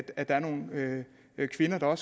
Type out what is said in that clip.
er nogle kvinder der